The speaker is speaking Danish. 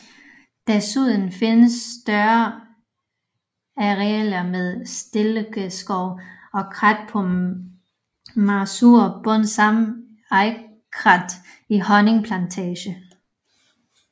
Desuden findes større arealer med stilkegeskove og krat på mager sur bund samt egekrat i Hønning Plantage